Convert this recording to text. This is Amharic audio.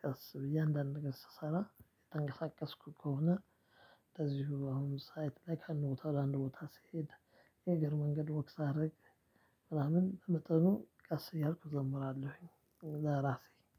ቀስ ብዬ አንዳንድ ቀን ስሰራ እየተንቀሳቀስኩ ከሆነ። እንደዚሁ አሁን ሳይት ላይ ከአንድ ቦታ ወደ አንድ ቦታ ስሄድ የእግር መንገድ ወክ ሳረግ። ምናምን በመጠኑ ቀስ እያልኩ እዘምራለሁኝ ለራሴ